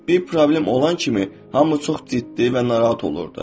Bir problem olan kimi hamı çox ciddi və narahat olurdu.